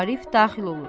Arif daxil olur.